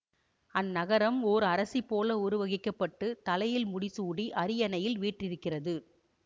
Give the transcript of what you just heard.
அந்நகரம் ஓர் அரசிபோல உருவகிக்கப்பட்டு தலையில் முடிசூடி அரியணையில் வீற்றிருக்கிறது